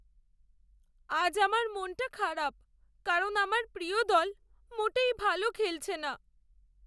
আজ আমার মনটা খারাপ কারণ আমার প্রিয় দল মোটেই ভালো খেলছে না।